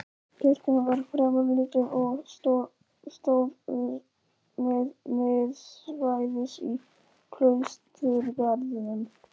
Kirkjan var fremur lítil og stóð miðsvæðis í klausturgarðinum.